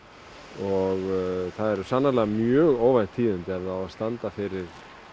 og það eru sannarlega mjög óvænt tíðindi ef það á að standa fyrir